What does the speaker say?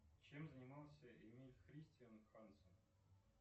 чем занимался эмиль христиан хансен